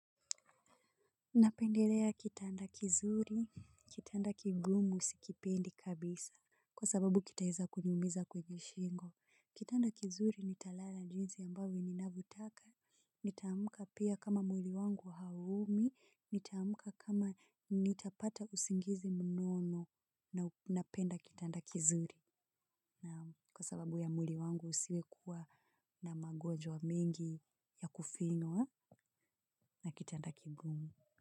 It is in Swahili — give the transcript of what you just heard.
Napendelea kitanda kizuri, kitanda kigumu sikipendi kabisa, kwa sababu kitaweza kuniumiza kwenye shingo. Kitanda kizuri nitalala njinsi ambavyo ninavyotaka, nitaamka pia kama mwili wangu hauumi, nitaamka kama nitapata usingizi mnono na napenda kitanda kizuri. Kwa sababu ya mwili wangu usiwekuwa na magwonjwa mengi ya kufinywa na kitanda kigumu.